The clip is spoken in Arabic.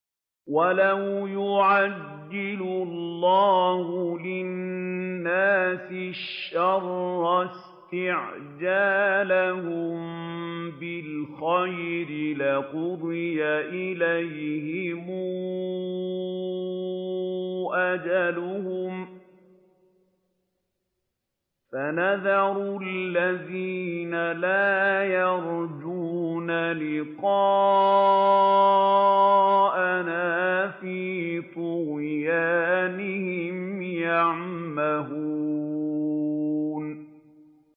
۞ وَلَوْ يُعَجِّلُ اللَّهُ لِلنَّاسِ الشَّرَّ اسْتِعْجَالَهُم بِالْخَيْرِ لَقُضِيَ إِلَيْهِمْ أَجَلُهُمْ ۖ فَنَذَرُ الَّذِينَ لَا يَرْجُونَ لِقَاءَنَا فِي طُغْيَانِهِمْ يَعْمَهُونَ